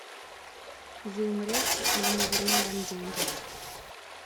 вы умрете или мы вернем вам деньги